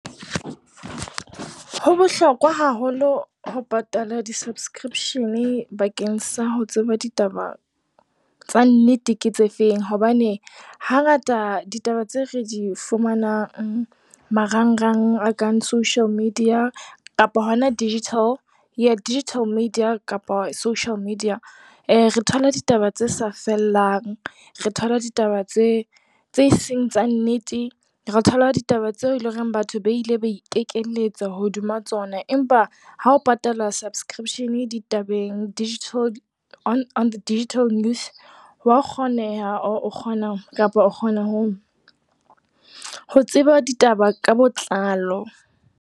Ho bohlokwa haholo ho patala di-subscription-e bakeng sa ho tseba ditaba tsa nnete, ke tse feng hobane hangata ditaba tse re di fumanang marangrang, a kang social media, digital media kapa social media e re thola ditaba tse sa fellang. Re thola ditaba tse seng tsa nnete, re thola ditaba tseo eleng hore batho ba ile ba ikekeletsa hodima tsona. Empa ha o patala subscription-e ditabeng digital news ho ya kgoneha kapa o kgona ho tseba ditaba ka botlalo.